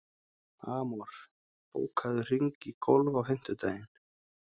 Amor, bókaðu hring í golf á fimmtudaginn.